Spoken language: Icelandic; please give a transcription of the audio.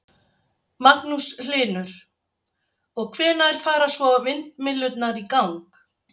Magnús Hlynur: Og, hvenær fara svo vindmyllurnar í gang?